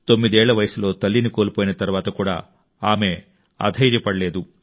9 ఏళ్ల వయసులో తల్లిని కోల్పోయిన తర్వాత కూడా ఆమె అధైర్యపడలేదు